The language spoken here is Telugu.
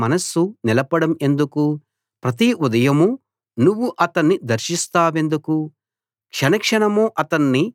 ప్రతి ఉదయమూ నువ్వు అతణ్ణి దర్శిస్తావెందుకు క్షణక్షణమూ అతన్ని పరీక్షిస్తావెందుకు